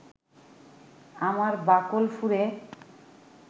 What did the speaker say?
আমার বাকল ফুঁড়ে